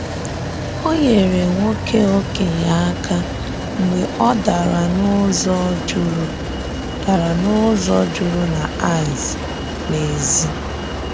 Ọ nyerè nwoke okenye aka mgbe ọ darà n’ụzọ jụrụ darà n’ụzọ jụrụ na ìce n’èzí.